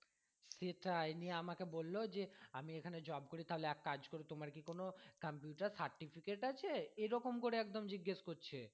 সে টাই নিয়ে আমাকে বললো যে আমি এখানে job করি তাহলে এক কাজ করো তোমার কি কোনো computure certificate আছে এরকম করে একদম জিজ্ঞেস করছে।